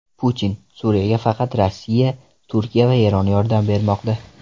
Putin: Suriyaga faqat Rossiya, Turkiya va Eron yordam bermoqda.